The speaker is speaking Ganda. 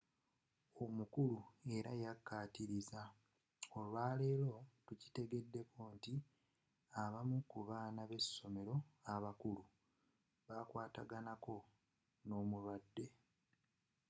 omukulu era yakkatiriza olwaleero tukitegeddeko nti abamu ku baana b’essomero abakulu bakwataganako n’omulwadde.